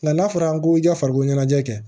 Nka n'a fɔra ko i ka farikolo ɲɛnajɛ kɛ